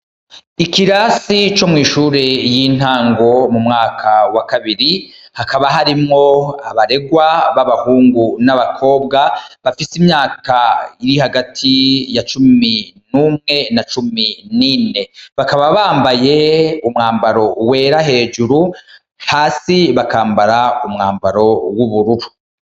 Ikirasi co mw'ishure y'intango mu mwaka wa kabiri, hakaba harimwo abarerwa b'abahungu n'abakobwa, bafise imyaka iri hagati ya cumi n'umwe na cumi n'ine. Bakaba bambaye umwambaro werta hejuru, hasi bakambara umwambaro w'ubururu.